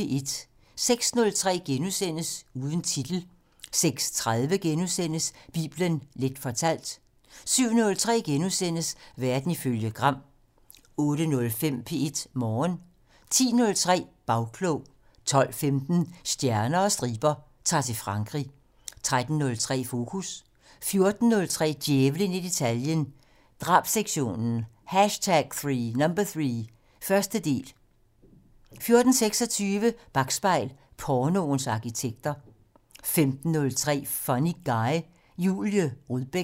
06:03: Uden titel * 06:30: Bibelen Leth fortalt * 07:03: Verden ifølge Gram * 08:05: P1 Morgen 10:03: Bagklog 12:15: Stjerner og striber - Ta'r til Frankrig 13:03: Fokus 14:03: Djævlen i detaljen - Drabssektionen #3 - første del 14:26: Bakspejl: Pornoens arkitekter 15:03: Funny Guy: Julie Rudbæk